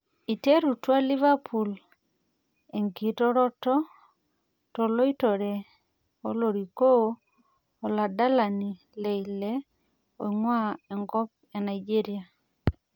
Eiterutua liverpool enkiroroto toloitore olorikoo oladalani le lille oing'ua enkop e Nigeria